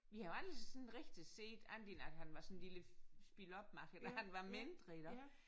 Vi har jo aldrig sådan rigtig set andet end at han var sådan en lille spilopmager da han var mindre iggå